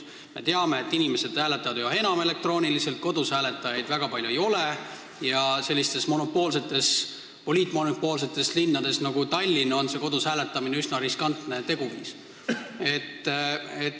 Me teame, et inimesed hääletavad üha enam elektrooniliselt, kodus hääletajaid väga palju ei ole ja sellistes poliitmonopoolsetes linnades nagu Tallinn on kodus hääletamine üsna riskantne teguviis.